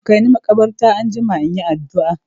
Kaini makabarta anjima in yi addu'a!